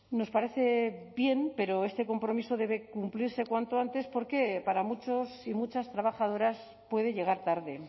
nos parece bien pero este compromiso debe cumplirse cuanto antes porque para muchos y muchas trabajadoras puede llegar tarde